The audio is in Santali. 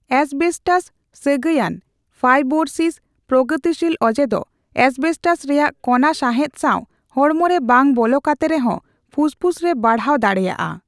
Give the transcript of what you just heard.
ᱮᱥᱵᱮᱥᱴᱟᱥᱼ ᱥᱟᱹᱜᱟᱭᱟᱱ ᱯᱷᱟᱭᱵᱳᱨᱚᱥᱤᱥ ᱯᱨᱚᱜᱚᱛᱤᱥᱤᱞ ᱚᱡᱮ ᱫᱚ ᱮᱥᱵᱮᱥᱴᱟᱥ ᱨᱮᱭᱟᱜ ᱠᱚᱱᱟ ᱥᱟᱦᱮᱸᱫ ᱥᱟᱣ ᱦᱚᱲᱢᱚᱨᱮ ᱵᱟᱝ ᱵᱚᱞᱚ ᱠᱟᱛᱮ ᱨᱮᱦᱚᱸ ᱯᱷᱩᱥᱯᱷᱩᱥ ᱨᱮ ᱵᱟᱲᱦᱟᱣ ᱫᱟᱲᱮᱭᱟᱜᱼᱟ ᱾